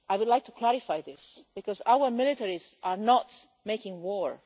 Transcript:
I would like to clarify this because our militaries are not making war.